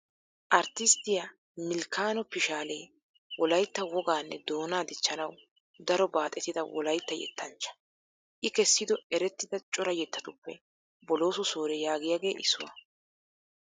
Arttisttiya Milkkano Pishshaale Wolaytta wogaanne doonaa dichchanawu daro baaxettida Wolaytta yettanchcha. I kessido erettida cora yettatuppe Bolooso Soore yaagiyagee issuwaa.